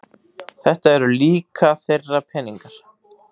Þetta eru líka þeirra peningar